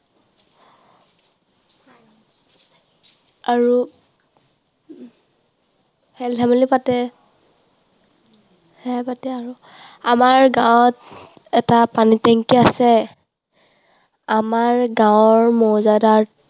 আৰু খেলধেমালি পাতে। সেইয়াই পাতে আৰু। আমাৰ গাঁৱত এটা পানী টেংকি আছে। আমাৰ গাঁৱৰ মৌজাদাৰ